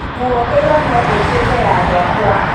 nguo ĩyo no ĩtuĩke ya gwakwa.